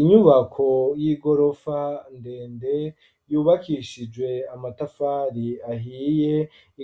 Inyubako y'igorofa ndende yubakishijwe amatafari ahiye